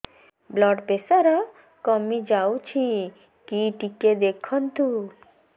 blood pressure କମି ଯାଉଛି କି ଟିକେ ଦେଖନ୍ତୁ